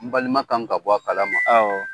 N balima kan ka bɔ a kalama, awɔ.